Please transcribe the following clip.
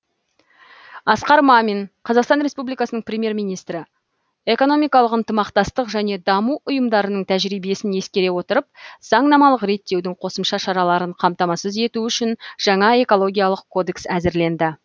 асқар мамин қазақстан республикасының премьер министрі экономикалық ынтымақтастық және даму ұйымдарының тәжірибесін ескере отырып заңнамалық реттеудің қосымша шараларын қамтамасыз ету үшін жаңа экологиялық кодекс әзірленді